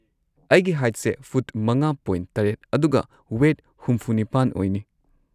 ꯑꯩꯒꯤ ꯍꯥꯏꯠꯁꯦ ꯐꯨꯠ ꯵.꯷ ꯑꯗꯨꯒ ꯋꯦꯠ ꯶꯸ ꯑꯣꯏꯅꯤ꯫